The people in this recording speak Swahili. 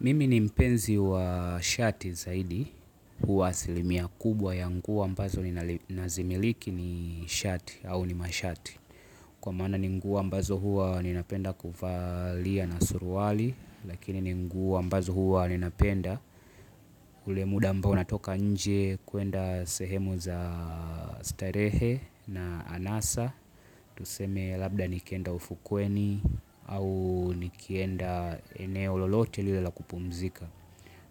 Mimi ni mpenzi wa shati zaidi, huwa asilimia kubwa ya nguo ambazo nazimiliki ni shati au ni mashati. Kwa maana ni nguo ambazo huwa ninapenda kuvalia na suruali, lakini ni nguo ambazo huwa ninapenda. Ule muda ambao natoka nje kwenda sehemu za starehe na anasa, tuseme labda nikienda ufukweni au nikienda eneo lolote lile la kupumzika.